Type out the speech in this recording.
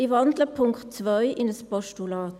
Ich wandle den Punkt 2 in ein Postulat.